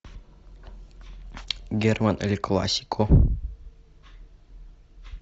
герман эль классико